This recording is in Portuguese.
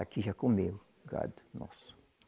Aqui já comeu, o gado nosso.